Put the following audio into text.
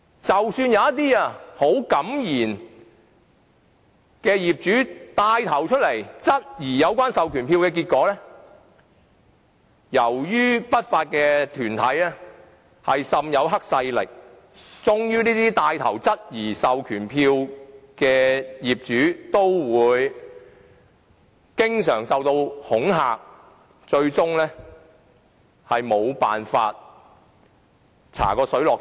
即使有一些很敢言的業主站出來牽頭質疑有關授權書，結果往往是由於不法團體被黑勢力滲透，這些牽頭質疑授權書的業主均會經常受恐嚇，令事情最終無法查個水落石出。